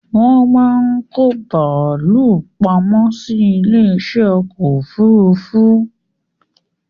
Wón máa ń kó bàálù pamọ́ sí ilé isẹ́ ọkọ̀ òfúrúúfú